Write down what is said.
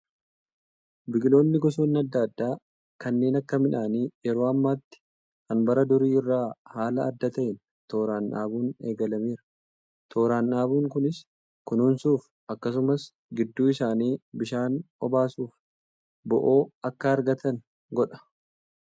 Biqiloonni gosoonni adda adda kanneen akka midhaanii yeroo ammaatti kan bara durii irraa haala adda ta'een tooraan dhaabuun eegalameera. Tooraan dhaabuun kunis kunuunsuuf akkasumas gidduu isaanii bishaan obaasuuf bo'oo akka argatan godha.